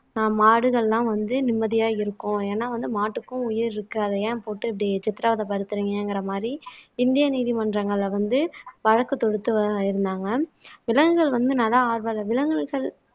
ஆஹ் மாடுகள்லாம் வந்து நிம்மதியா இருக்கும் ஏன்னா வந்து மாட்டுக்கும் உயிர் இருக்கு அதை ஏன் போட்டு இப்படி சித்திரவதை படுத்துறீங்கங்கிற மாதிரி இந்திய நீதிமன்றங்கள்ல வந்து வழக்கு தொடுத்து இருந்தாங்க விலங்குகள் வந்து நல ஆர்வலர் விலங்குகள்